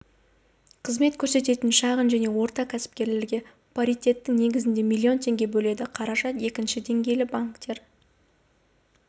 қызмет көрсететін шағын және орта кәсіпкерлерге паритетті негізде млн теңге бөледі қаражат екінші деңгейлі банктер